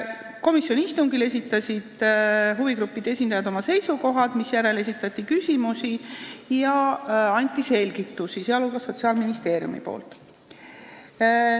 Komisjoni istungil esitasid huvigruppide esindajad oma seisukohad, misjärel esitati küsimusi ja anti selgitusi, sh Sotsiaalministeeriumi poolt.